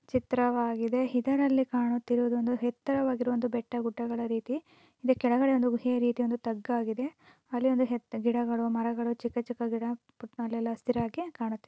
ಚಿತ್ರವಾಗಿದೆ ಇದರಲ್ಲಿ ಕಾಣುತ್ತಿರುವುದು. ಒಂದು ಎತ್ತರವಾದ ಬೆಟ್ಟಗುಡ್ಡಗಳ ರೀತಿ ಇಲ್ಲಿ ಕೆಳಗಡೆ ಒಂದು ಕುಬೇ ರೀತಿಯಲ್ಲಿ ತಗ್ಗು ಹಾಗಿದೆ ಅಲ್ಲಿ ಒಂದು ಗಿಡಗಳು. ಮರಗಳು ಚಿಕ್ಕ ಚಿಕ್ಕ ಎಲ್ಲಾ ಹಸಿರಾಗಿ ಕಾಣುತ್ತದೆ.